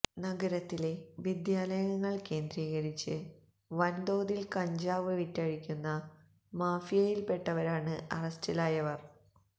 നഗരത്തിലെ വിദ്യാലയങ്ങള് കേന്ദ്രീകരിച്ചു വന്തോതില് കഞ്ചാവ് വിറ്റഴിക്കുന്ന മാഫിയയില് പെട്ടവരാണ് അറസ്റ്റിലായവര്